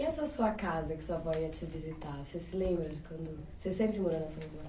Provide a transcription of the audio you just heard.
E essa sua casa que sua avó ia te visitar, você se lembra de quando... Você sempre morou nessa mesma